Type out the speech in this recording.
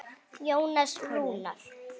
Jónas Rúnar.